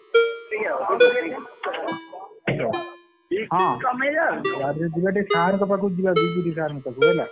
Hello । ହଁ ଗାଡିରେ ଯିବା ଟିକେ sir ଙ୍କ ପାଖକୁ ଯିବା ବିଭୁତି sir ଙ୍କ ପାଖକୁ ହେଲା।